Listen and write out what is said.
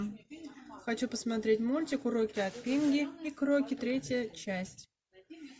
хочу посмотреть мультик уроки от пинги и кроки третья часть